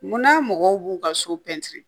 Munna mɔgɔw b'u ka so pɛntiri